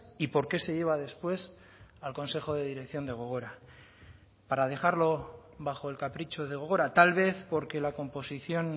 y por qué se lleva después al consejo de dirección de gogora para dejarlo bajo el capricho de gogora tal vez porque la composición